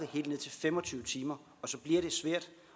helt ned til fem og tyve timer